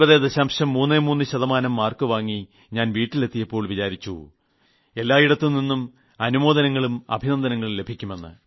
33 ശതമാനം മാർക്ക് വാങ്ങി ഞാൻ വീട്ടിലെത്തിയപ്പോൾ വിചാരിച്ചു എല്ലായിടത്തുനിന്നും അനുമോദനങ്ങളും അഭിനന്ദനങ്ങളും ലഭിക്കുമെന്ന്